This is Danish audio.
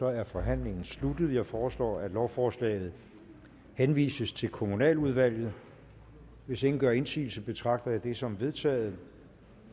er forhandlingen sluttet jeg foreslår at lovforslaget henvises til kommunaludvalget hvis ingen gør indsigelse betragter jeg det som vedtaget